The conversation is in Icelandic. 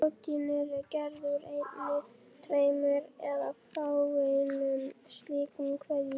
Prótín eru gerð úr einni, tveimur eða fáeinum slíkum keðjum.